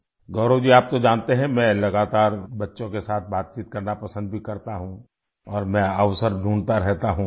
गौरव जी आप तो जानते है मैं लगातार बच्चों के साथ बातचीत करना पसंद भी करता हूँ और मैं अवसर ढूंढता रहता हूँ